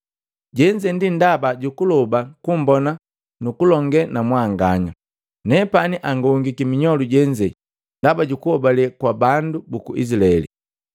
Jenze ndi ndaba jukuloba kummbona nukulonge na mwanganya, nepani angongiki minyolu jenze ndaba jukuhobale kwa bandu buku Izilaeli.